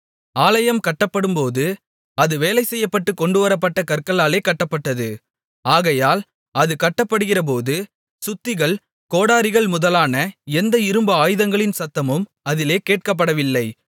ஆலயம் கட்டப்படும்போது அது வேலைசெய்யப்பட்டு கொண்டுவரப்பட்ட கற்களாலே கட்டப்பட்டது ஆகையால் அது கட்டப்படுகிறபோது சுத்திகள் கோடரிகள் முதலான எந்த இரும்பு ஆயுதங்களின் சத்தமும் அதிலே கேட்கப்படவில்லை